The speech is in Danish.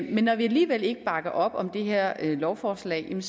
men når vi alligevel ikke bakker op om det her lovforslag